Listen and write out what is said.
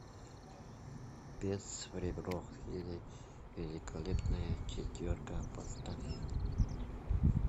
бес в ребро или великолепная четверка поставь